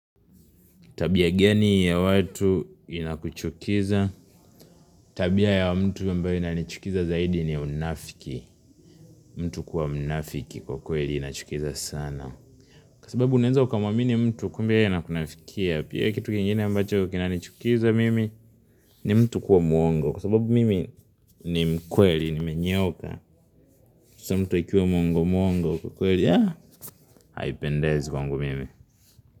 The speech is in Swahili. Tabia gani ya watu inakuchukiza. Tabia ya mtu ambaye inanichukiza zaidi ni unafiki. Mtu kuwa mnafiki kwa kweli inachukiza sana. Kwa sababu unaenza ukamwamini mtu kumbe yeye anakunafikia. Pia kitu kingine ambacho kinanichukiza mimi ni mtu kuwa mwongo. Kwa sababu mimi ni mkweli nimenyooka. Kwa sababu mtu akiwa mwongo mwongo kwa kweli ya haipendezi kwangu mimi.